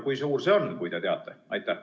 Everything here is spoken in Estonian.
Kui suur see on, kui te teate?